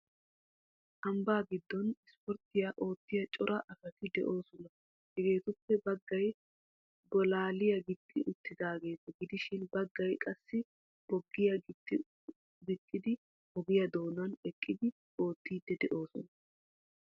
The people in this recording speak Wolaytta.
Ambbaa giddon ispporttiya oottiya cora asati de'oosona. Hegeetuppe baggay bolaaliya gixxi uttidaageeta gidishin baggay qassi boggiya gixxidi ogiya doonan eqqidi oottiiddi de'oosona.